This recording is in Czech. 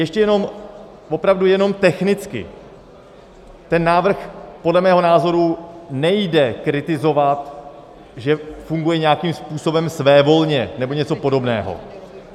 Ještě jenom, opravdu jenom technicky, ten návrh podle mého názoru nejde kritizovat, že funguje nějakým způsobem svévolně nebo něco podobného.